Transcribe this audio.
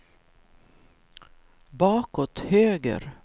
bakåt höger